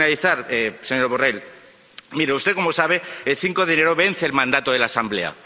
Para finalizar, señor Borrell, mire usted, como sabe, el 5 de enero vence el mandato de la Asamblea.